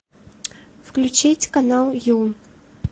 включить канал ю